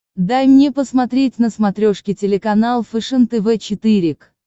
дай мне посмотреть на смотрешке телеканал фэшен тв четыре к